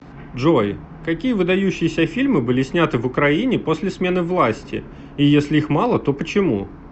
джой какие выдающиеся фильмы были сняты в украине после смены власти и если их мало то почему